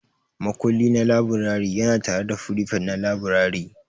Makulli na laburare yana tare da firifet na laburare.